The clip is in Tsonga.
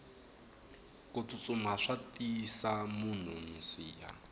kutsutsuma swa tiyisa munhu minsiha